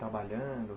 Trabalhando?